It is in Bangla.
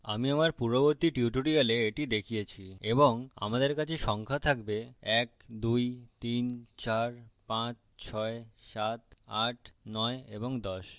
আমি আমার পূর্ববর্তী tutorials এটি দেখিয়েছি এবং আমাদের কাছে সংখ্যা থাকবে 1 2 3 4 5 6 7 8 9 ও 10